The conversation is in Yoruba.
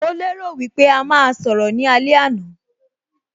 Mo lè rò wípé a máa sọ̀rọ̀ ní alẹ́ àná